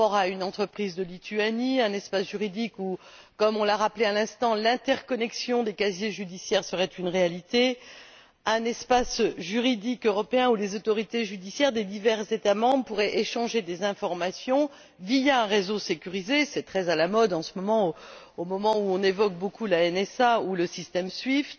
une entreprise de Lituanie, un espace juridique où, comme on l'a rappelé à l'instant, l'interconnexion des casiers judiciaires serait une réalité, un espace juridique européen où les autorités judiciaires des divers États membres pourraient échanger des informations via un réseau sécurisé c'est très à la mode en ce moment où on évoque beaucoup la NSA ou le système SWIFT